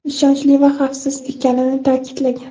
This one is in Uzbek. ishonchli va xavfsiz ekanini ta’kidlagan.